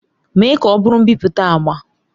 Mee ka ọ bụrụ mbipụta agba!